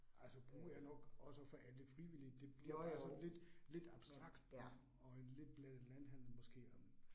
Altså brug er nok også for alle frivillige, det det bliver sådan lidt lidt abstrakt og og en lidt blandet landhandel måske øh